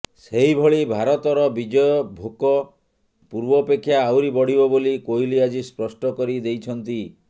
ସେହିଭଳି ଭାରତର ବିଜୟ ଭୋକ ପୂର୍ବପେକ୍ଷା ଆହୁରି ବଢ଼ିବ ବୋଲି କୋହଲି ଆଜି ସ୍ପଷ୍ଟ କରି ଦେଇଛନ୍ତି